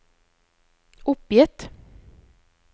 oppgitt